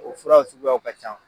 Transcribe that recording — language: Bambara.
O furaw suguyaw ka ca.